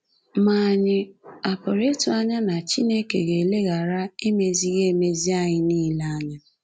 Ma ànyị a pụrụ ịtụ anya na Chineke ga-eleghara emezighị emezi anyị nile anya?